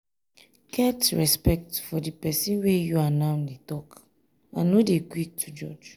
get respect for di person wey you and am dey talk and no dey quick to judge